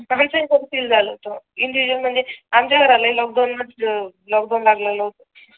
सगळं घर सील झालं होत इंडिविज्युअल म्हणजे आमच्या घराला हि लोकडवून म्हणजे लोकडवून लागलं होत